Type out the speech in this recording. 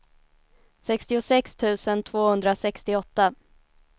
sextiosex tusen tvåhundrasextioåtta